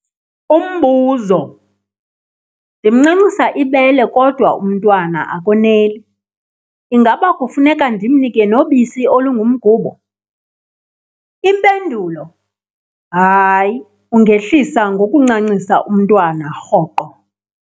Umbuzo- Ndimncancisa ibele, kodwa umntwana akoneli. Ingaba kufuneka ndimnike nobisi olungumgubo? Impendulo- Hayi, ungehlisa ngokuncancisa umntwana rhoqo.